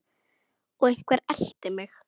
Og einhver elti mig.